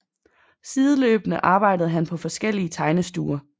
Sideløbende arbejdede han på forskellige tegnestuer